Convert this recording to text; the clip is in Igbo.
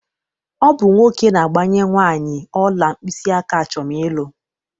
Ọ bụ nwoke na-agbanye nwaanị ọla mkpịsịaka achọm ịlụ.